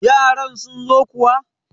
yaran sun zo kuwa!